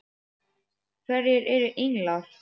Hverjir eru englar?